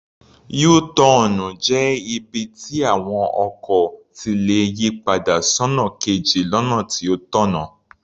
Yú-tọọ̀nù jẹ́ ibi tí àwọn ọkọ̀ ti lè yì padà sọ́nà kejì lọ́nà tó tọ̀nà.